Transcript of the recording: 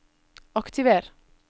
aktiver